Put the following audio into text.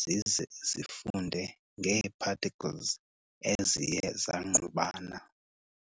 zize zifunde ngee-particles eziye zangqubana.